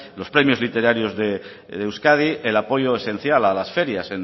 los premios literarios de euskadi el apoyo esencial a las ferias